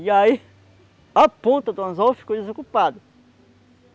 E aí, a ponta do anzol ficou desocupada.